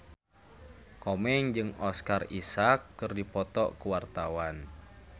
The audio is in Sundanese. Komeng jeung Oscar Isaac keur dipoto ku wartawan